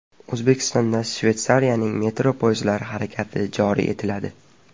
O‘zbekistonda Shveysariyaning metro poyezdlari harakati joriy etiladi.